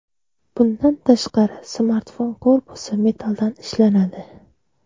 Bundan tashqari, smartfon korpusi metalldan ishlanadi.